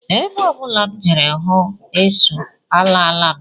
Ebe ọ bụla m jere hụ esu, alaala m